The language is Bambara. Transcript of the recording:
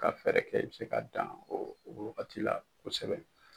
Ka fɛɛrɛ kɛ i bi se ka dan o wagati la kosɛbɛ.